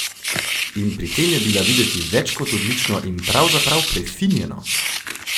In pri tem je bila videti več kot odlično in pravzaprav prefinjeno!